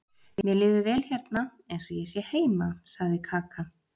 Mér líður vel hérna eins og ég sé heima, sagði Kaka.